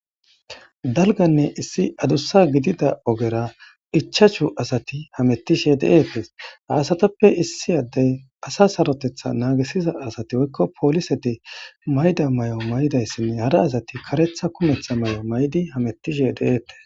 Dalgganne issi adussa gidida ogera ichchashu asati hamutishe de7eetees. Ha asatappe issi adde asa saroteththa naagisiza asati woykko poliseti mayida mayo maidayssinne hara asati kareththa kumehtha mayo mayidi hametishe de7eetes.